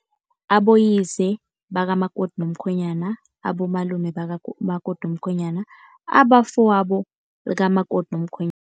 Aboyise bakamakoti nomkhwenyana, abomalume bakamakoti nomkhwenyana, abafowabo likamakoti nomkhwenyana.